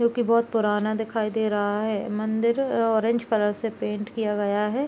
जो की बहुत पुराना दिखाई दे रहा है। मंदिर ऑरेंज कलर से पेंट किया गया है।